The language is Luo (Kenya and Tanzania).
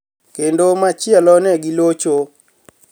Kenido machielo ni e gilocho.